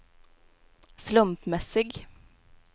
slumpmässig